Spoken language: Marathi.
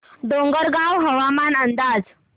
डोंगरगाव हवामान अंदाज